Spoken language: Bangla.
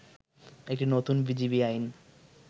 একটি নতুন বিজিবি আইন